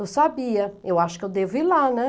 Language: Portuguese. Eu sabia, eu acho que eu devo ir lá, né?